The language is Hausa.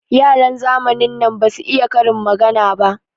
Yaran zamanin nan basu iya karin magana ba.